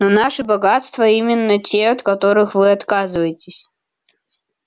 но наши богатства именно те от которых вы отказываетесь